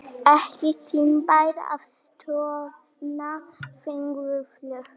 Ekki tímabært að stofna þingflokk